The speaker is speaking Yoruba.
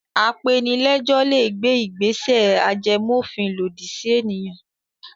Apenilẹ́jọ́ le gbé ìgbésẹ̀ ajẹmófin lòdì sí ènìyàn.